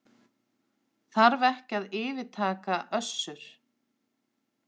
Þarf ekki að yfirtaka Össur